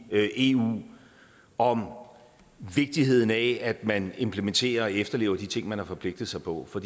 eu om vigtigheden af at man implementerer og efterlever de ting man har forpligtet sig på for